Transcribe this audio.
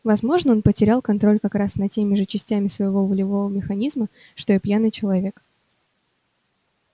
возможно он потерял контроль как раз над теми же частями своего волевого механизма что и пьяный человек